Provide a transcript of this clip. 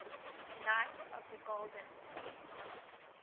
knights of the golden fleece